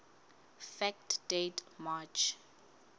fact date march